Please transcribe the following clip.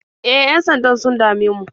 E, yan-sandan sun dame mu.